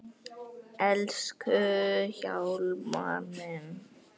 Elsku Hjálmar minn.